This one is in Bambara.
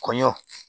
Kɔɲɔ